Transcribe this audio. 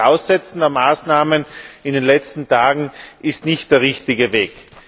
Und auch das Aussetzen der Maßnahmen in den letzten Tagen ist nicht der richtige Weg.